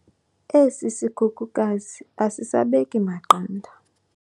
esi sikhukukazi asisabeki maqanda